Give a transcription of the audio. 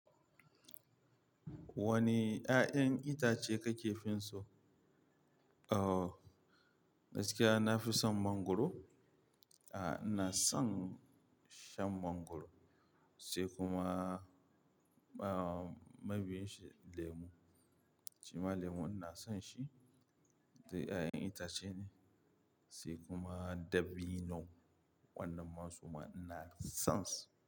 Wane ƴaƴan itace kake fin so? Oh, gaskiya nafi son mangoro. Aa, ina son shan mangoro se kuma, aa, mabiyin shi lemu. Shima lemu ina son shi. Duk ƴaƴan itace ne sai kuma dabino. Wannan ma suma ina son su.